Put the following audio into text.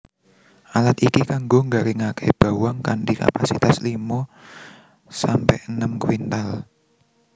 Alat iki kanggo nggaringaké bawang kanthi kapasitas limo sampe enem kuintal